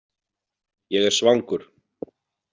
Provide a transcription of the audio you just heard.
Ég er svangur.